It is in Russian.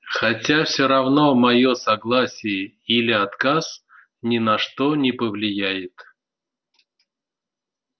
хотя все равно моё согласие или отказ ни на что не повлияет